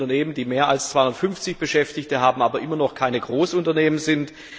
Es gibt Unternehmen, die mehr als 250 Beschäftigte haben, aber immer noch keine Großunternehmen sind.